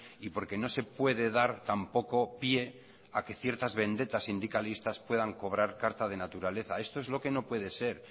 y porque no se puede dar tampoco pie a que ciertas vendetas sindicalistas puedan cobrar carta de naturaleza esto es lo que no puede ser